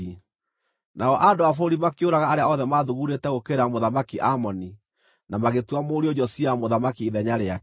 Nao andũ a bũrũri makĩũraga arĩa othe maathugundĩte gũũkĩrĩra Mũthamaki Amoni na magĩtua mũriũ Josia mũthamaki ithenya rĩake.